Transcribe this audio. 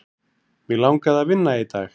Mig langaði að vinna í dag.